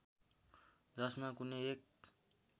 जसमा कुनै एक